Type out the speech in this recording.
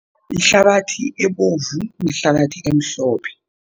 Ihlabathi ebovu nehlabathi emhlophe.